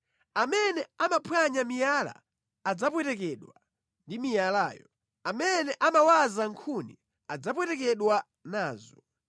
Amene amaphwanya miyala adzapwetekedwa ndi miyalayo; amene amawaza nkhuni adzapwetekedwa nazo.